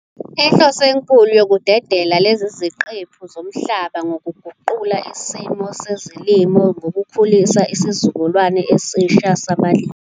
Inhloso enkulu yokudedela lezi ziqephu zomhlaba ngukuguqula isimo sezolimo ngokukhulisa isizukulwane esisha sabalimi.